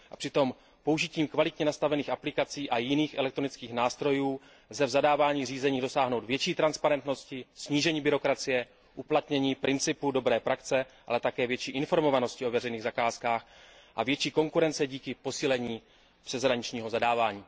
A přitom použitím kvalitně nastavených aplikací a jiných elektronických nástrojů lze při zadávání zakázek dosáhnout větší transparentnosti, snížení byrokracie, uplatnění principu dobré praxe, ale také větší informovanosti o veřejných zakázkách a větší konkurence díky posílení přeshraničního zadávání.